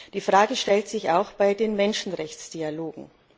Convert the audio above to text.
Die Frage stellt sich auch bei den Menschenrechtsdialogen.